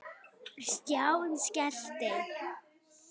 Stjáni skellti